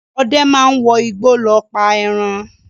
Ọdẹ máa ń wọ igbó lọ pa ẹran.